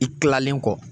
I kilalen kɔ